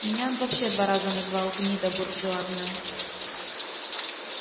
меня он вообще два раза назвал гнида бурржуазная